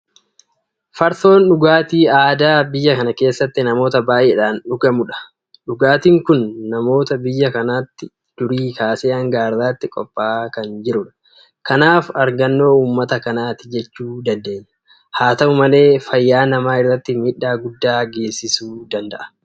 Farsoon dhugaatii aadaa biyya kana keessatti namoota baay'eedhaan dhugamudha. Dhugaatiin kun namoota biyya kanaatiin durii kaasee hanga har'aatti qophaa'aa kan jirudha. Kanaaf argannoo uummata kanaati jechuu dandeenya. Haa ta'u malee fayyaa namaa irratti miidhaa guddaa geessisuu danda'a.